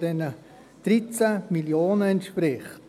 der 13 Mio. Franken entspricht.